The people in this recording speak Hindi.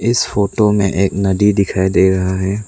इस फोटो में एक नदी दिखाई दे रहा है।